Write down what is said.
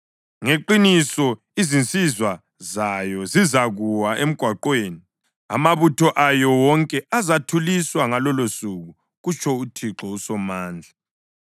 Ngeqiniso izinsizwa zayo zizakuwa emgwaqweni; amabutho ayo wonke azathuliswa ngalolosuku,” kutsho uThixo uSomandla.